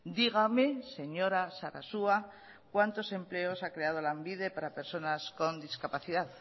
dígame señora sarasua cuántos empleos ha creado lanbide para personas con discapacidad